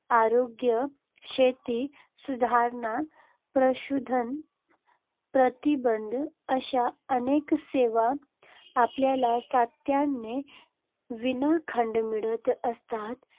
आरोग्य, शेती सुधारणा, प्रदूषणास प्रतिबंध अशा अनेक सेवा आपल्याला सातत्याने विनाखंड मिळत असतात.